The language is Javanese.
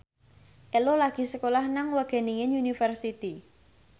Ello lagi sekolah nang Wageningen University